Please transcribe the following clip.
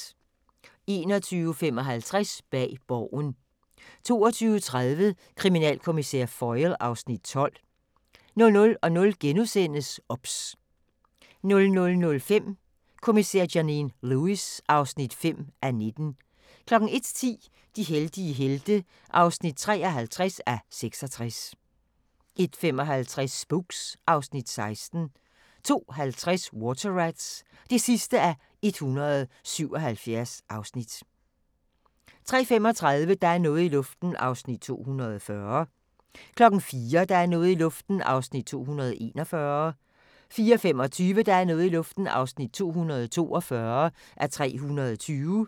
21:55: Bag Borgen 22:30: Kriminalkommissær Foyle (Afs. 12) 00:00: OBS * 00:05: Kommissær Janine Lewis (5:19) 01:10: De heldige helte (53:66) 01:55: Spooks (Afs. 16) 02:50: Water Rats (177:177) 03:35: Der er noget i luften (240:320) 04:00: Der er noget i luften (241:320) 04:25: Der er noget i luften (242:320)